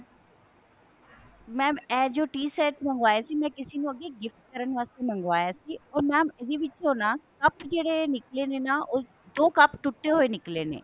mam ਇਹ ਜੋ tea set ਮੰਗਵਾਇਆ ਸੀ ਮੈਂ ਕਿਸੇ ਨੂੰ ਅੱਗੇ gift ਕਰਨ ਵਾਸਤੇ ਮੰਗਵਾਇਆ ਸੀ mam ਇਹਦੇ ਵਿੱਚੋ ਨਾ ਕੱਪ ਜਿਹੜੇ ਨਿੱਕਲੇ ਨੇ ਉਹ ਦੋ ਕੱਪ ਟੁੱਟੇ ਹੋਏ ਨਿੱਕਲੇ ਨੇ